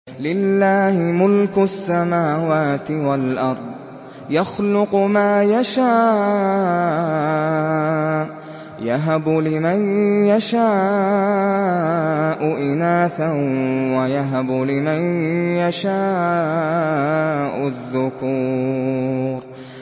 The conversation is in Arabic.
لِّلَّهِ مُلْكُ السَّمَاوَاتِ وَالْأَرْضِ ۚ يَخْلُقُ مَا يَشَاءُ ۚ يَهَبُ لِمَن يَشَاءُ إِنَاثًا وَيَهَبُ لِمَن يَشَاءُ الذُّكُورَ